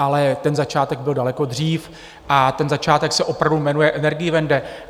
Ale ten začátek byl daleko dřív a ten začátek se opravdu jmenuje Energiewende.